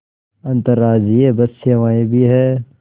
अंतर्राज्यीय बस सेवाएँ भी हैं